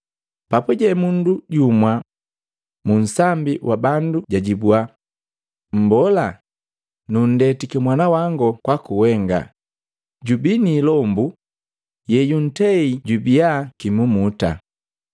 Papuje mundu jumwa munsambi wa bandu jwajibwa, “Mbola, nundetiki mwanawango kwaku wenga, jubii ni ilombu yeyuntei jubia kimumuta.